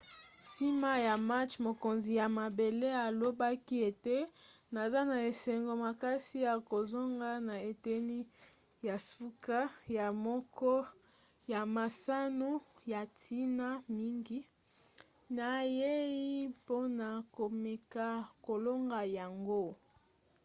nsima ya match mokonzi ya mabele alobaki ete naza na esengo makasi ya kozonga na eteni ya suka ya moko ya masano ya ntina mingi. nayei mpona komeka kolonga yango.